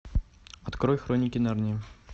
открой хроники нарнии